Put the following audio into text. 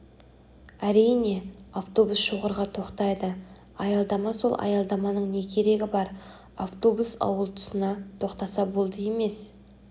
әрине автобус шоғырға тоқтайды аялдама сол аялдаманың не керегі бар автобус ауыл тұсына тоқтаса болды емес